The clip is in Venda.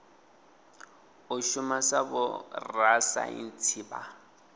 u shuma sa vhorasaintsi vha